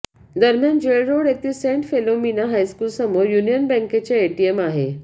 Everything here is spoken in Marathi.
दरम्यान जेलरोड येथील सेंट फिलोमिना हायस्कूल समोर युनियन बँकेचे एटीएम आहे